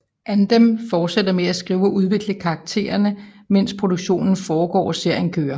Andem fortsætter med at skrive og udvikle karaktererne mens produktionen foregår og serien kører